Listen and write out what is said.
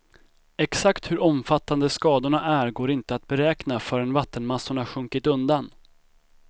Exakt hur omfattande skadorna är går inte att beräkna förrän vattenmassorna sjunkit undan.